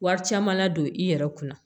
Wari caman ladon i yɛrɛ kunna